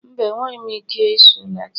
mba, enweghị m ike ịsụ Latin